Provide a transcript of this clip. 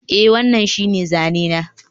Eh, wannan shine zane na